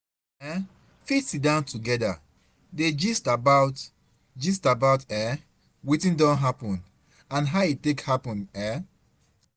una um fit sidon together dey gist about gist about um wetin don happen and how e take happen um